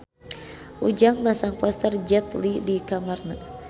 Ujang masang poster Jet Li di kamarna